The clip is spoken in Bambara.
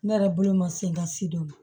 Ne yɛrɛ bolo ma se ka si dɔn